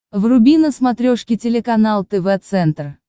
вруби на смотрешке телеканал тв центр